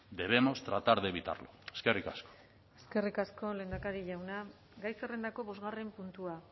debemos tratar de evitarlo eskerrik asko eskerrik asko lehendakari jauna gai zerrendako bosgarren puntua